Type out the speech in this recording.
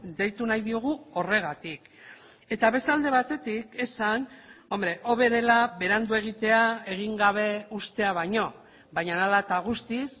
deitu nahi diogu horregatik eta beste alde batetik esan hobe dela berandu egitea egin gabe uztea baino baina ala eta guztiz